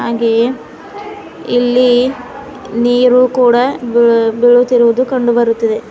ಹಾಗೆಯೇ ಇಲ್ಲಿ ನೀರು ಕೂಡ ಬೀಳ್ ಬೀಳುತ್ತಿರುವುದು ಕಂಡು ಬರುತ್ತಿದೆ.